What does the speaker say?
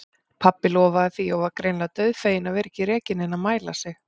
Pabbi lofaði því og var greinilega dauðfeginn að vera ekki rekinn inn að mæla sig.